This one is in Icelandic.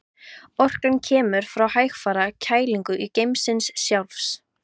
Orkan kemur frá hægfara kælingu geymisins sjálfs.